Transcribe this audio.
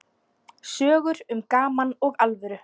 Sögur um gaman og alvöru.